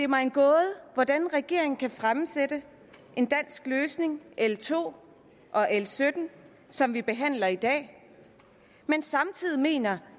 mig en gåde hvordan regeringen kan fremsætte en dansk løsning l to og l sytten som vi behandler i dag men samtidig mener